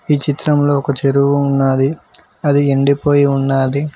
ఈ చిత్రంలో ఒక చెరువు ఉన్నాది అది ఎండిపోయి ఉన్నాది.